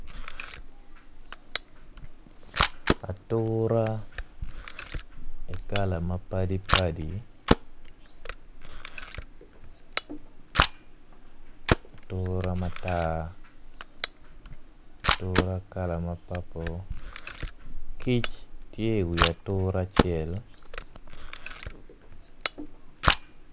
Atura i kala mapadi padi atura matar atura kala ma papul kic tye iwi atura acel.